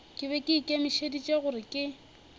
be ke ikemišeditše gore ke